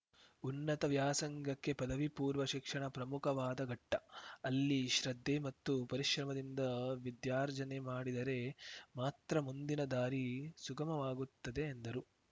ಉನ್ನತ ವ್ಯಾಸಂಗಕ್ಕೆ ಪದವಿಪೂರ್ವ ಶಿಕ್ಷಣ ಪ್ರಮುಖವಾದ ಘಟ್ಟ ಅಲ್ಲಿ ಶ್ರದ್ಧೆ ಮತ್ತು ಪರಿಶ್ರಮದಿಂದ ವಿದ್ಯಾರ್ಜನೆ ಮಾಡಿದರೆ ಮಾತ್ರ ಮುಂದಿನ ದಾರಿ ಸುಗಮವಾಗುತ್ತದೆ ಎಂದರು